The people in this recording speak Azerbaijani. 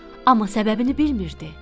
Amma səbəbini bilmirdi.